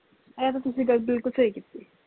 ਇਹ ਤੁਸੀ ਤੇ ਗੱਲ ਬਿਲਕੁਲ ਸਹੀ ਕੀਤੀ